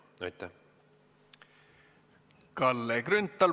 Kalle Grünthal, palun!